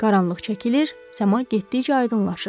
Qaranlıq çəkilir, səma getdikcə aydınlaşırdı.